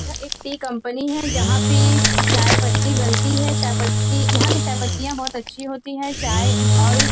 यह एक tea company है जहाँ पे चाय पत्ती बनती है। चाय पत्ती यहाँ की चाय पत्तियां बहोत अच्छी होती है। चाय और--